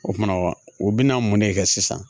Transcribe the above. O mana wa o bɛna mun ne kɛ sisan